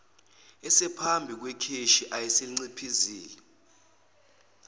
esephambi kwekheshi ayeliciphizile